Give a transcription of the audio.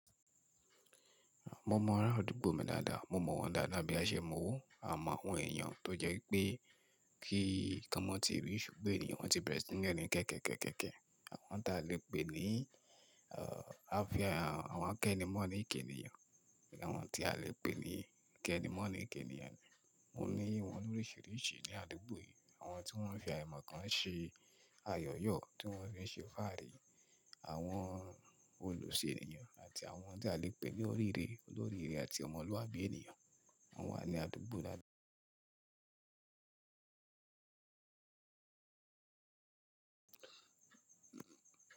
Mo mọ ara àdúgbò mi dáadáa, mo mọ̀ wọ́n dáadáa bí a ṣe mọ̀ owó, a mọ̀ àwọn èèyàn tó jẹ́ pé kí kan mọ́ ti rí ṣùgbọ́n, èniyàn won tí bẹ̀rẹ̀ sí ní kẹ́kẹ̀kẹ́kẹ́kẹ́, àwọn tí a lè pè ní ààfíà, àwọn kẹ́nimọ́nì j'ènìyàn, àwọn tí a lè pè ní kẹ́nimọ́nì j'èèyàn. Mo ní wọ́n ní oríṣìíríṣìí ní àdúgbò yìí, àwọn tí wọ́n fi àìmọ̀ kan ṣe ayọ̀yọ́, tí wọ́n fi ṣe fáàrí, àwọn olùṣe èèyàn àti àwọn tí a lè pè ní olóríire, olóríire àti ọmọlúàbí èèyàn. Wọ́n wà ní àdúgbò dáadáa.